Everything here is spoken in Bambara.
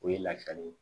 O ye lafiya de ye